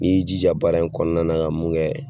N'i y'i jija baara in kɔnɔna ka mun kɛ